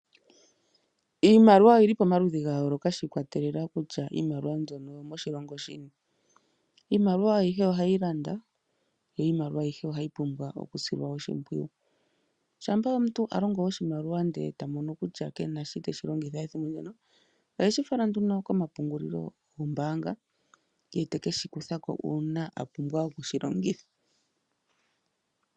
Iimaliwa oyili pomaludhi ga yooloka shi ikwatelela kutya iimaliwa mbyono oyo moshilongo shini. Iimaliwa ayihe ohayi landa yo iimaliwa ayihe ohayi pumbwa okusilwa oshimpwiyu shampa omuntu eta longo oshimaliwa nde eta mono kutya kena shi teshi longitha ethimbo limwe ohashi falwa komapungulilo gombaanga ye ete keshi kutha ko uuna apumbwa okushi longitha.